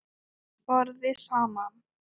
BORÐIÐ SAMAN